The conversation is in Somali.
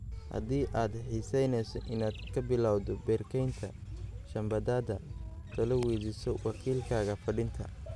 Haddii aad xiisaynayso inaad ka bilawdo beer-kaynta shambadaada talo weydiiso wakiilkaaga fidinta